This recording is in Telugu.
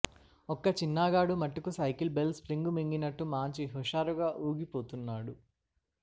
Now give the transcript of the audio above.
ఒక్క చిన్నాగాడు మట్టుకి సైకిలు బెల్ స్ప్రింగ్ మింగినట్టు మాంచి హుషారుగా ఊగిపోతున్నాడు